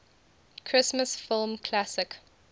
christmas film classic